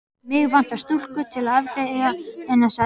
Mig vantar stúlku til að afgreiða sagði hann.